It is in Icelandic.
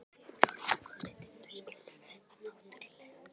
Ég er orðinn forvitinn, þú skilur það náttúrlega.